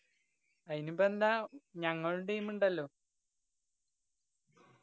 അയിനിപ്പ എന്താ ഞങ്ങളും team ഇണ്ടല്ലോ